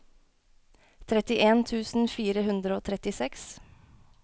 trettien tusen fire hundre og trettiseks